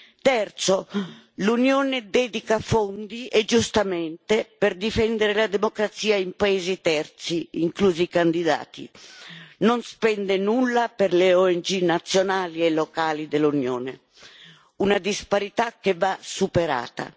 In terzo luogo, l'Unione dedica fondi, e giustamente, per difendere la democrazia in paesi terzi, inclusi i candidati ma non spende nulla per le ONG nazionali e locali dell'Unione una disparità che va superata.